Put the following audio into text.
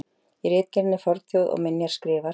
Í ritgerðinni Fornþjóð og minjar skrifar